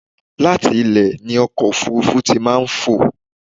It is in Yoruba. Láti ilẹ̀ ni ọkọ̀ ofúrúfú tí màá ń fò.